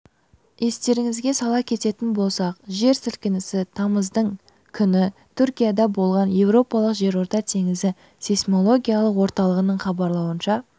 естеріңізге сала кететін болсақ жер сілкінісі тамыздың күні түркияда болған еуропалық жерорта теңізі сейсмологиялық орталығының хабарлауынша